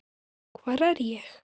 hvar er ég?